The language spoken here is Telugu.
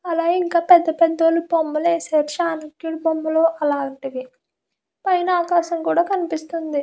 పెద్ద బొమ్మలు కూడా వేశారు. అలాగే చాణిఖుని బొమ్మలు అలాగే పైన ఆకాశం కూడా కనిపిస్తుంది .